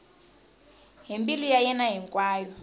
hi mbilu ya yena hinkwayo